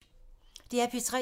DR P3